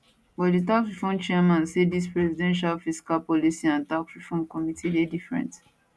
but di tax reform chairman say dis presidential fiscal policy and tax reforms committee dey different